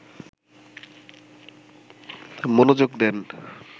মনোযোগ দেন